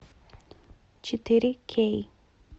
четыре кей